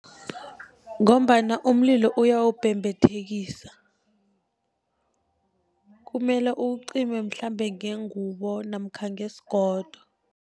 Ngombana umlilo uyawubhebhethekisa, kumele uwucime mhlambe ngengubo namkha ngesigodo.